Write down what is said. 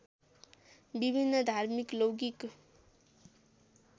विभिन्न धार्मिक लौकिक